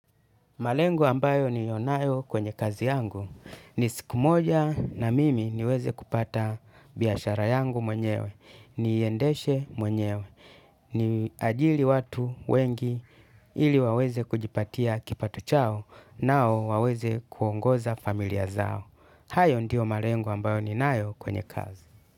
Malengo ambayo niliyo nayo kwenye kazi yangu. Ni siku moja na mimi niweze kupata biashara yangu mwenyewe. Niiendeshe mwenyewe. Niajiri watu wengi ili waweze kujipatia kipato chao nao waweze kuongoza familia zao. Hayo ndiyo malengo ambayo ninayo kwenye kazi.